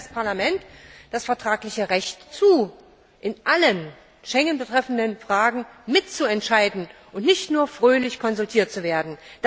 Uns steht als Parlament das vertragliche Recht zu, in allen Fragen, die Schengen betreffen, mitzuentscheiden und nicht nur fröhlich konsultiert zu werden.